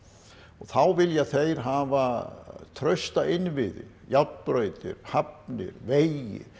þá vilja þeir hafa trausta innviði járnbrautir hafnir vegi